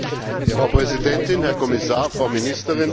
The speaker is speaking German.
Frau Präsidentin, Herr Kommissar, Frau Ministerin!